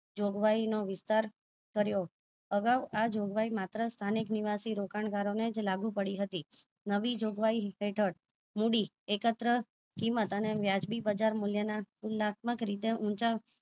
જોગવાઈ નો વિસ્તાર કર્યો આગાઉ આ જોગવાય માત્ર સંથાનીક નિવાસી રોકાણગારો ને જ લાગુ પડી હતી નવી જોગવાઈ હેઠળ મૂડી એકત્ર કીમત અને વ્યાજબી બજાર મુલ્ય ના ખુલાત્મક રીતે ઊંચા